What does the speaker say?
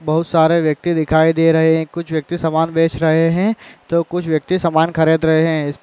बोहोत सारे व्यक्ति दिखाई दे रहे हैं। कुछ व्यक्ति समान बेच रहे हैं तो कुछ व्यक्ति समान खरीद रहे हैं।